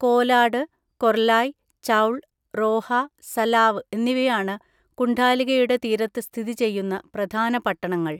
കോലാട്, കൊർലായ്, ചൗൾ, റോഹ, സലാവ് എന്നിവയാണ് കുണ്ഡാലികയുടെ തീരത്ത് സ്ഥിതി ചെയ്യുന്ന പ്രധാന പട്ടണങ്ങൾ.